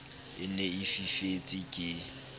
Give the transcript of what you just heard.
e ne e fifetse ke